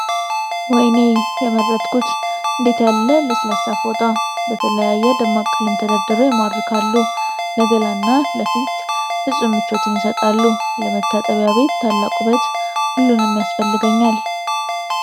ወይኔ የመረጥኩት! እንዴት ያለ ለስላሳ ፎጣ! በተለያየ ደማቅ ቀለም ተደርድረው ይማርካሉ! ለገላና ለፊት ፍጹም ምቾትን ይሰጣሉ! ለመታጠቢያ ቤት ታላቅ ውበት! ሁሉንም ያስፈልገኛል!